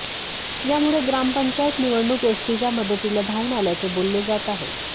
यामुळे ग्रामपंचायत निवडणूक एसटीच्या मदतीला धावून आल्याचे बोलले जात आहे